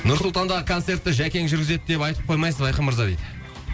нұр сұлтандағы концертті жәкең жүргізеді деп айтып қоймайсыз ба айқын мырза дейді